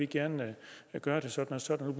gerne vil gøre det sådan og sådan